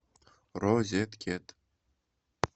розеткед